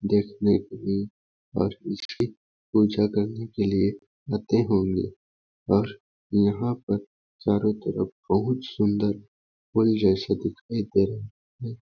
देखने के लिए राजपुरोहित पूजा करने लिए होते होंगे पर यहाँ पर चारों तरफ बहुत सुन्दर फूल जैसा दिखने पर हैं।